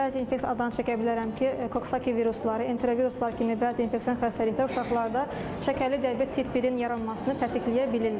Bəzi infeksion çəkə bilərəm ki, koksaki virusları, enteroviruslar kimi bəzi infeksion xəstəliklər uşaqlarda şəkərli diabet tip birin yaranmasını tətikləyə bilirlər.